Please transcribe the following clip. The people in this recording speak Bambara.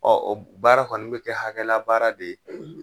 Ɔ o baara kɔni bɛ kɛ hakɛla baara de ye;